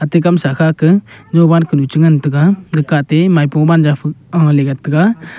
te kamsa khake jowan kunu chengan taga gaka atte maipo wanzo fe ahley gataga.